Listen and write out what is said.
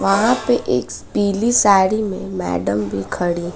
वहां पे एक पीली साड़ी में मैडम भी खड़ी--